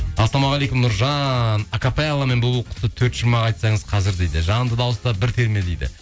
ассалаумағалейкум нұржан акапелламен бұлбұл құсы төрт шумақ айтсаңыз қазір дейді жанды дауыста бір терме дейді